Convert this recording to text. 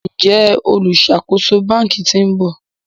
Njé oluṣakoso bánkì t'in bò?